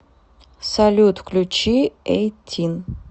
салют включи эйтин